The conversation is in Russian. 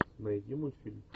найди мультфильм